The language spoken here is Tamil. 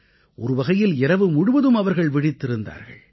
ஒருவகையில் இரவு முழுவதும் அவர்கள் விழித்திருந்தார்கள்